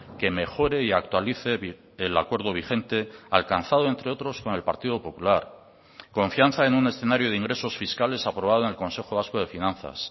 que mejore y actualice el acuerdo vigente alcanzado entre otros con el partido popular confianza en un escenario de ingresos fiscales aprobado en el consejo vasco de finanzas